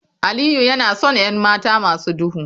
Aliyu yana son 'yan mata masu duhu